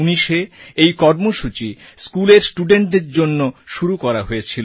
2019এ এই কর্মসূচি স্কুলের studentদের জন্য শুরু করা হয়েছিল